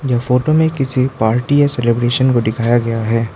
यह फोटो में किसी पार्टी या सेलिब्रेशन को दिखाया गया है।